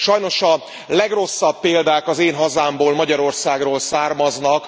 Sajnos a legrosszabb példák az én hazámból, Magyarországról származnak.